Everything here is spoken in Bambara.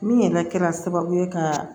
Min yɛrɛ kɛra sababu ye ka